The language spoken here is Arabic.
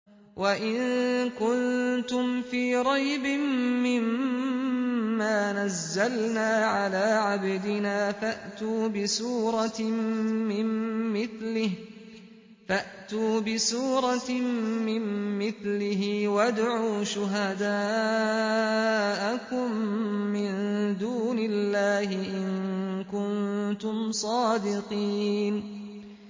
وَإِن كُنتُمْ فِي رَيْبٍ مِّمَّا نَزَّلْنَا عَلَىٰ عَبْدِنَا فَأْتُوا بِسُورَةٍ مِّن مِّثْلِهِ وَادْعُوا شُهَدَاءَكُم مِّن دُونِ اللَّهِ إِن كُنتُمْ صَادِقِينَ